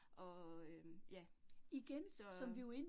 Og øh ja, så